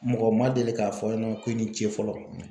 Mɔgɔ ma deli k'a fɔ ɲɛna ko i ni ce fɔlɔ